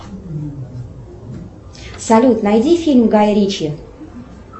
салют найди фильм гая ричи